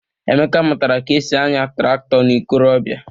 Emeka mụtara ka e si anya traktọ n'ikorobịa.